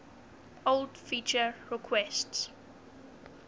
old feature requests